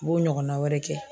N b'o ɲɔgɔnna wɛrɛ kɛ